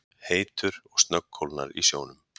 heitur og snöggkólnar í sjónum.